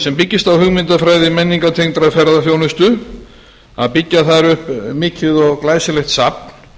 sem byggist á hugmyndafræði menningartengdrar ferðaþjónustu að byggja þar upp mikið og glæsilegt safn